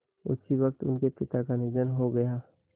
उसी वक़्त उनके पिता का निधन हो गया